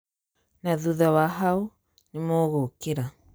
Na thutha wa haũ, nĩmũgũkira"